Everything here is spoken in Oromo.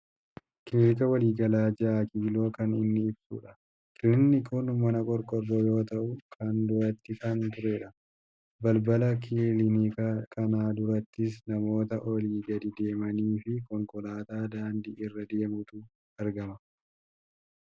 Kiliinika waliigalaa 6 kiiloo kan inni ibsudha. Kiliinikni kun mana qorqoorroo yoo ta'u kan durattii kan turedha. Balbala kiliinika kanaa durattis namoota olii gadi deemaniifi konkolaataa daandii irra deemutu argama.